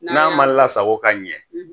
N'an ma lasago ka ɲɛ,